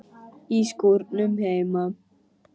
Í skúrnum heima.